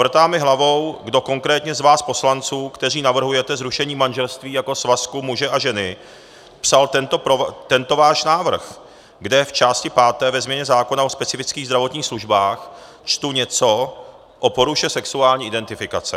Vrtá mi hlavou, kdo konkrétně z vás poslanců, kteří navrhujete zrušení manželství jako svazku muže a ženy, psal tento váš návrh, kde v části páté ve změně zákona o specifických zdravotních službách čtu něco o poruše sexuální identifikace.